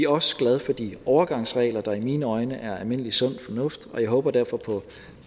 også glade for de overgangsregler der i mine øjne er almindelig sund fornuft jeg håber derfor på